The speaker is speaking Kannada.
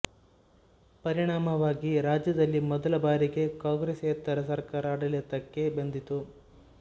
ಪರಿಣಾಮವಾಗಿ ರಾಜ್ಯದಲ್ಲಿ ಮೊದಲ ಬಾರಿಗೆ ಕಾಂಗ್ರೆಸ್ಸೇತರ ಸರಕಾರ ಆಡಳಿತಕ್ಕೆ ಬಂದಿತು